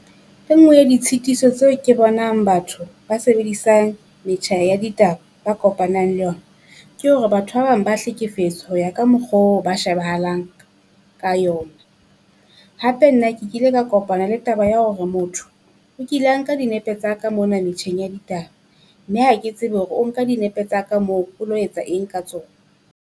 E nngwe ya ditshitiso tseo ke bonang batho ba sebedisang metjha ya ditaba, ba kopanang le yona, ke hore batho ba bang ba hlekefetswa ho ya ka mokgwa o ba shebahalang ka yona. Hape nna kile ka kopana le taba ya hore motho o kile a nka dinepe tsa ka mona metjheng ya ditaba, mme ha ke tsebe hore o nka dinepe tsa ka moo o lo etsa eng ka tsona.